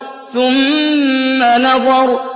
ثُمَّ نَظَرَ